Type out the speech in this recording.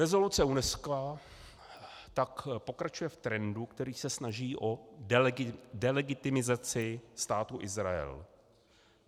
Rezoluce UNESCO tak pokračuje v trendu, který se snaží o delegitimizaci Státu Izrael.